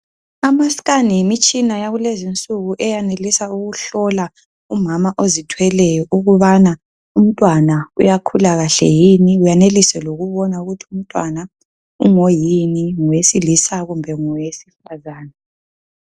Amascan yimitshina yakulezi insuku eyenelisa ukuhlola umama ozithweleyo ukubana umntwana uyakhula kahle yini uyenelise lokubona ukuthi umntwana uyini ngowesilisa kumbe ngowesifana